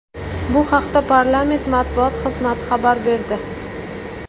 Bu haqda parlament matbuot xizmati xabar berdi .